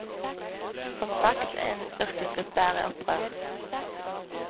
Som sagt, en yrkesgruppe er i opprør.